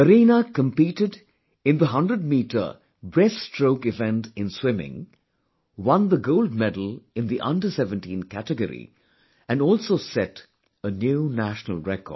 Kareena competed in the 100 metre breaststroke event in swimming, won the gold medal in the Under17 category and also set a new national record